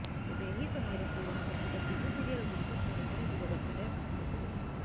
ତେବେ ଏହି ସମୟରେ ପୁରୁଣା ପ୍ରସିଦ୍ଧ ଟିଭି ସିରିଏଲଗୁଡ଼ିକ ପୁଣିଥରେ ଦୁରଦର୍ଶନରେ ପ୍ରସାରିତ ହେଉଛି